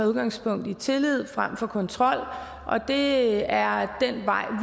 udgangspunkt i tillid frem for kontrol og det er den vej